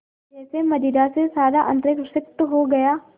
जैसे मदिरा से सारा अंतरिक्ष सिक्त हो गया